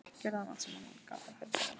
Gerði hann allt sem hann gat á ferlinum?